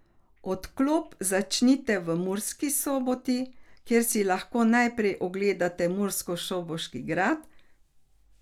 Odklop začnite v Murski Soboti, kjer si lahko najprej ogledate murskosoboški grad.